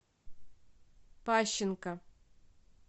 пащенко